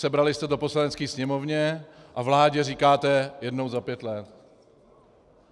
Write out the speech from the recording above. Sebrali jste to Poslanecké sněmovně a vládě říkáte jednou za pět let.